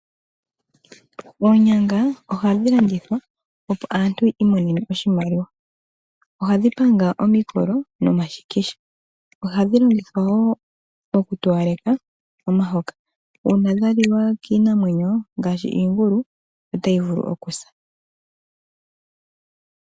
Oonyanga ohadhi landathwa opo aantu yi imonene oshimaliwa. Ohadhi panga omikolo nomashikisha. Ohadhi longithwa wo okutowaleka omihoka. Uuna dhaliwa kiinamwenyo ngaashi iingulu otayi vulu okusa.